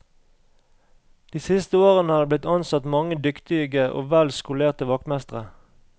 De siste årene er det blitt ansatt mange dyktige og vel skolerte vaktmestre.